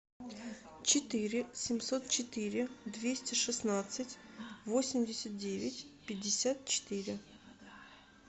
четыре семьсот четыре двести шестнадцать восемьдесят девять пятьдесят четыре